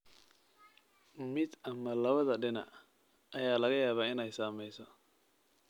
Mid ama labada dhinac ayaa laga yaabaa inay saameyso.